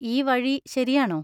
ഈ വഴി ശരിയാണോ?